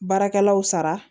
Baarakɛlaw sara